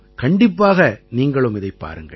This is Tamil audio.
கண்டிப்பாக நீங்களும் இதைப் பாருங்கள்